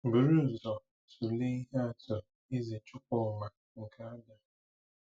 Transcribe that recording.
Buru ụzọ tụlee ihe atụ Eze Chukwuma nke Abia.